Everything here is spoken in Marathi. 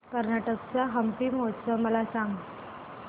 कर्नाटक चा हम्पी महोत्सव मला सांग